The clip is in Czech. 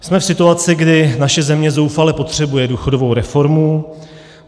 Jsme v situaci, kdy naše země zoufale potřebuje důchodovou reformu.